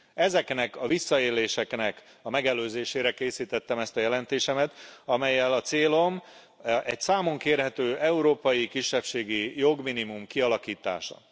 Ezeknek a visszaéléseknek a megelőzésére készítettem ezt a jelentésemet, amellyel a célom egy számonkérhető európai kisebbségi jogminimum kialakítása.